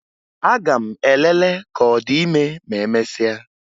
Aga m elele ka ọ dị ime ma emesịa